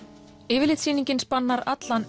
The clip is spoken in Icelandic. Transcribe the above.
yfirlitssýningin spannar allan